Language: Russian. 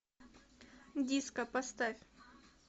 диско поставь